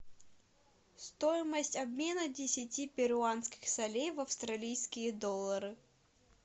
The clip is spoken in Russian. стоимость обмена десяти перуанских солей в австралийские доллары